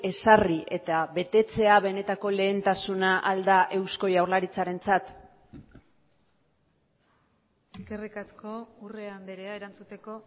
ezarri eta betetzea benetako lehentasuna ahal da eusko jaurlaritzarentzat eskerrik asko urrea andrea erantzuteko